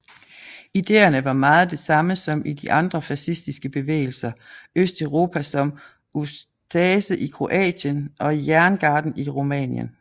Idéerne var meget det samme som i de andre fascistiske bevægelser Østeuropa som Ustaše i Kroatien og Jerngarden i Rumænien